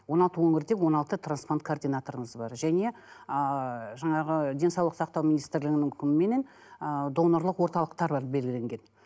он алты өңірде он алты трансплант координаторымыз бар және ыыы жаңағы денсаулық сақтау министрлігінің үкіміменен ыыы донорлық орталықтар бар белгіленген